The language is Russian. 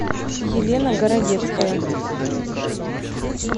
елена городецкая